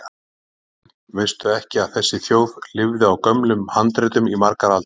Daðína mín, veistu ekki að þessi þjóð lifði á gömlum handritum í margar aldir?